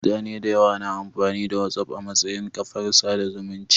Mutane dayawa na amfani da Whatsapp a matsayin kafar sada zumunci